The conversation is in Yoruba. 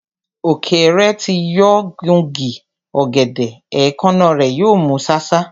Ọ̀kẹ́rẹ́ tí yóò gun igi ọ̀gẹ̀dẹ̀, èékánná rẹ̀ yóò mú ṣáṣá.